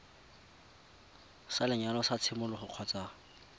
sa lenyalo sa tshimologo kgotsa